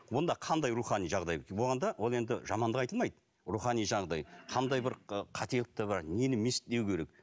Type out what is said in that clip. онда қандай рухани жағдай болғанда ол енді жамандық айтылмайды рухани жаңағыдай қандай бір ы қателіктер бар нені не істеу керек